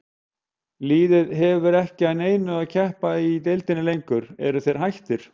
Liðið hefur ekki að neinu að keppa í deildinni lengur, eru þeir hættir?